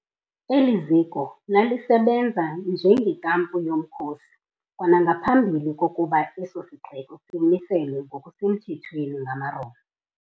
Eli ziko lalisebenza njengenkampu yomkhosi kwanangaphambi kokuba eso sixeko simiselwe ngokusemthethweni ngamaRoma.